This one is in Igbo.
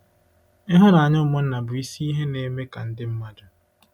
Ịhụnanya ụmụnna bụ isi ihe na-eme ka ndị mmadụ.